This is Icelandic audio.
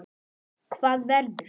Hvað verður?